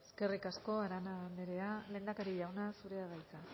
eskerrik asko arana anderea lehendakari jauna zurea da hitza